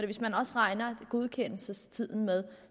hvis man også regner godkendelsestiden med